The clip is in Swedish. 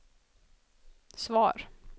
svar